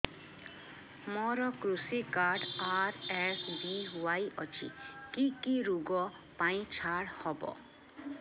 ମୋର କୃଷି card RSBY ଅଛି କି କି ଋଗ ପାଇଁ ଛାଡ଼ ହବ